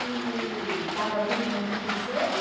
E estava tudo muito princesa.